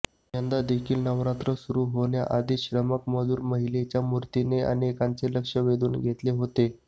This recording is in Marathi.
यंदादेखील नवरात्र सुरू होण्याआधीच श्रमिक मजूर महिलेच्या मूर्तीनं अनेकांचं लक्ष वेधून घेतलं होतं